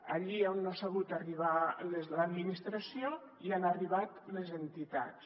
allí on no ha sabut arribar l’administració hi han arribat les entitats